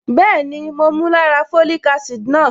Bẹ́ẹ̀ni, mo mu lára folic acid náà.